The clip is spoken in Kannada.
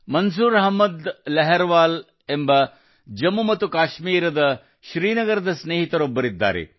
ಮಂಜೂರ್ ಅಹ್ಮದ್ ಲಾರ್ವಾಲ್ ಎಂಬ ಜಮ್ಮು ಮತ್ತು ಕಾಶ್ಮೀರದ ಶ್ರೀನಗರದ ಸ್ನೇಹಿತರೊಬ್ಬರಿದ್ದಾರೆ